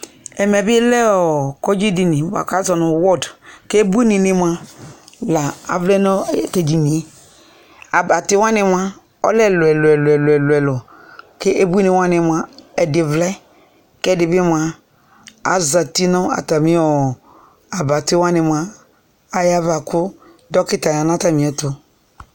Ɛmɛ bɩ lɛ ɔɔ kɔndzɩ dini bʋa k'azɔ nʋ ward k'ebuininɩ mʋa la avlɛ nʋ t'edini yɛ Abatɩwanɩ mʋa, ɔlɛ ɛlʋ lɛlʋ ɛlʋ ɛlʋ k'ebuiniwanɩ mʋa, ɛdɩ vlɛ, k'ɛdɩ bɩ mʋa azati nʋ atamɩ ɔɔ abatiwanɩ mʋa ayava kʋ dɔkita ya n'atamɩ ɛtʋ